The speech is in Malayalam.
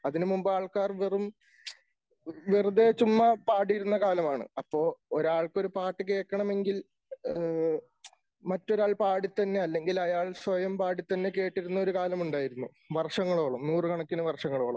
അതിന് മുമ്പ് ആൾക്കാർ വെറും വെറുതെ ചുമ്മാ പാടിയിരുന്ന കാലമാണ് അപ്പൊ ഒരാൾക്ക് ഒരു പാട്ട് കേൾക്കണമെങ്കിൽ. മറ്റൊരാൾ പാടിത്തന്നെ അല്ലെങ്കിൽ അയാൾ സ്വയം പാടി തന്നെ കേട്ടിരുന്ന ഒരു കാലമുണ്ടായിരുന്നു വർഷങ്ങളോളം നൂറുകണക്കിന് വർഷങ്ങളോളം.